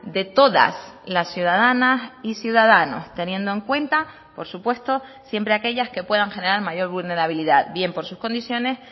de todas las ciudadanas y ciudadanos teniendo en cuenta por supuesto siempre aquellas que puedan generar mayor vulnerabilidad bien por sus condiciones